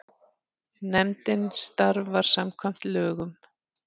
Nefndin starfar samkvæmt lögum.